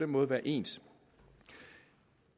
måde være ens